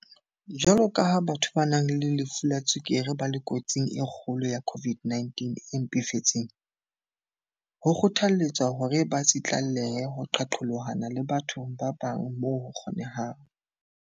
Jwaloka ha batho ba nang le lefu la tswekere ba le kotsing e kgolo ya COVID-19 e mpefetseng, ho kgothalletswa hore ba tsitlallele ho qaqolohana le batho ba bang moo ho kgo-nehang.